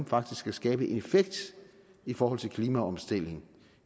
faktisk kan skabe en effekt i forhold til klimaomstilling